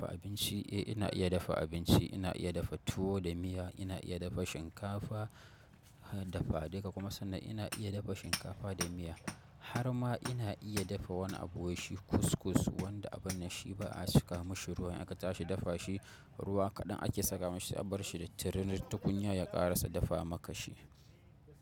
In shi iya dafa abinci. Ina iya dafa tuwo da miya. Ina iya dafa shinkafa, dafa. Dai ka kuma san na ina iya dafa shinkafa da miya. Har ma ina iya dafa wani abu wai shi cuscus wanda a banɗashi ba a saka mashi ruwa in aka tashi dafa shi ruwa kaɗan ake saka mashi sai a bar shi da tirenin tukunya ya ƙara sa dafa maka shi.